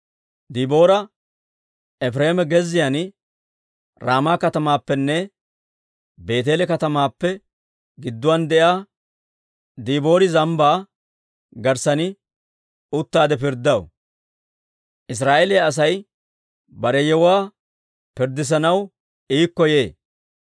Diboora Efireema gezziyaan, Raama katamaappenne Beeteele katamaappe gidduwaan de'iyaa Diboori Zambbaa garssan uttaade pirddaw; Israa'eeliyaa Asay bare yewuwaa pirddissanaw iikko yee.